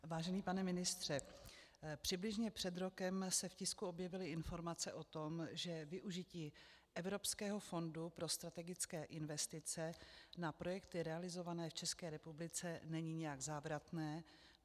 Vážený pane ministře, přibližně před rokem se v tisku objevily informace o tom, že využití Evropského fondu pro strategické investice na projekty realizované v České republice není nijak závratné.